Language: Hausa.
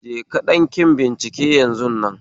Je ka ɗanki bincike yanzun nan